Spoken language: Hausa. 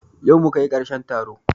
Yau muka yi karshen taro